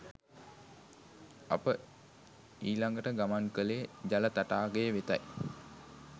අප ඊලගට ගමන් කලේ ජල තටාකය වෙතයි